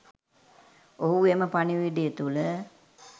ඔහු එම පණිවිඩය තුල